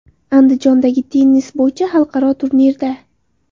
Andijondagi tennis bo‘yicha xalqaro turnirda.